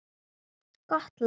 Gott land.